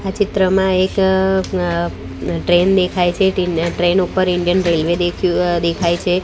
આ ચિત્રમાં એક અ ટ્રેન દેખાય છે ટ્રેન ઉપર ઇન્ડિયન રેલ્વે દેખ્યુ અ દેખાય છે.